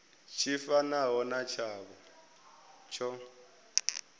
tshi fanaho na tshavho tsho